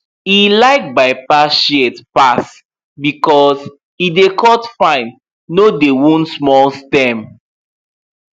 e like bypass shears pass because e dey cut fine no dey wound small stem